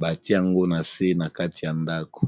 batiango na se na kati ya ndako